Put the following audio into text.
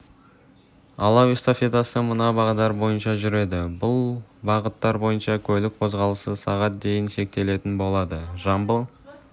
алау эстафетасы мына бағдар бойынша жүреді бұл бағыттар бойынша көлік қозғалысы сағат дейін шектелетін болады жамбыл